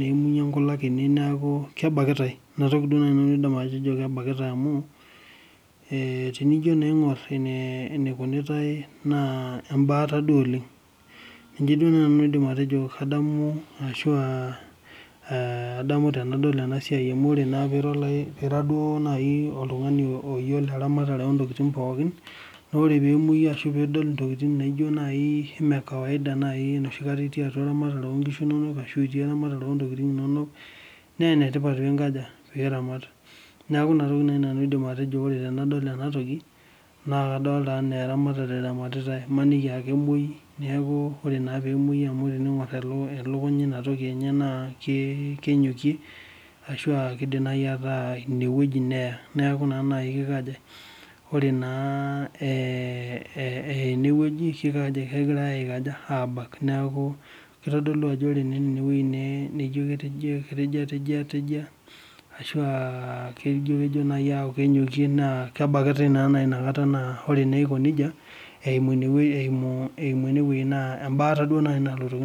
neimunye nkulak ene naaku kabakitae. Ina toki duo naaji nanu aidim atejo amu tenijo naa iangor enikunitae naa embaata duo oleng. Ninye duo nanu aidim atejo kadamu ashua adamu tenadol ena siai amu ore naa paa ira oltungani duo oyiolo eramatare ontokiting pookin, naa ore pee emoyu ashu pee idol ntokiting naijo naaji mee kawaida enoshi kata duo itii eramatare oonkishu inonok ashu itii eramatare ontokiting inonok naa enetipata pee iramatie. Neeku ina toki naaji nanu aidim atejo ore tenadol ena toki naa kadolita enaa eramatare eramatitae, maniki aa kemwoi amu ore naa pee emwoyu amu ore pee ingor elukunya inotoki na kenyokie ashu keidim naaji ataa ineweji neya. Neeku ore naa eya ineweji naa kegirae naa abak ,neeku kitodolu naa ajo ore eneweji netejia ashu ejo aaku naaji kenyokie naa kebakitae naji inakata naa ore naa eiko nejia, eimu eneweji naa embata naaji nalotoki ndamunot.